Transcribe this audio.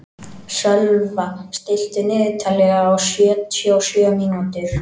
Sölva, stilltu niðurteljara á sjötíu og sjö mínútur.